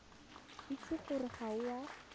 itse gore ga o a